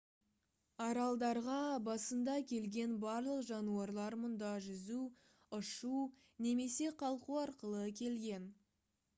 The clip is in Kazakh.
аралдарға басында келген барлық жануарлар мұнда жүзу ұшу немесе қалқу арқылы келген